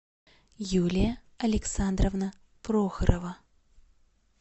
юлия александровна прохорова